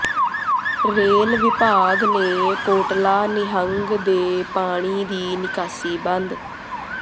rail ਵਿਭਾਗ ਨੇ ਕੋਟਲਾ ਨਿਹੰਗ ਦੇ ਪਾਣੀ ਦੀ ਨਿਕਾਸੀ ਬੰਦ